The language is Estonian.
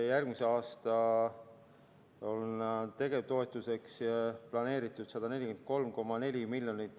Järgmine aasta on haigekassale tegevustoetuseks planeeritud 143,4 miljonit.